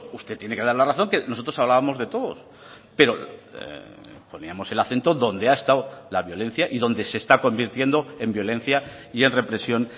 usted tiene que dar la razón que nosotros hablábamos de todos pero poníamos el acento donde ha estado la violencia y donde se está convirtiendo en violencia y en represión